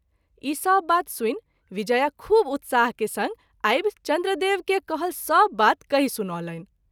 ईसभ बात सुनि विजया खूब उत्साह के संग आबि चन्द्रदेव के कहल सभ बात कहि सुनौलनि।